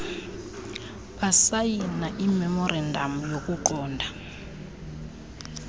basayina imemorandam yokuqonda